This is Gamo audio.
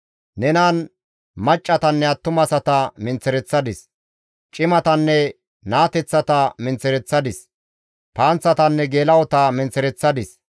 Nenan maccassatanne attumasata menththereththadis; cimatanne naateththata menththereththadis; panththatanne geela7ota menththereththadis.